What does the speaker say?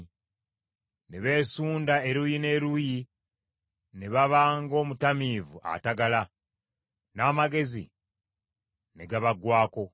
Ne beesunda, eruuyi n’eruuyi ne baba ng’omutamiivu atagala; n’amagezi ne gabaggwaako.